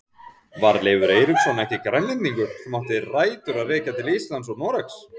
Var Leifur Eiríksson ekki Grænlendingur sem átti rætur að rekja til Íslands og Noregs?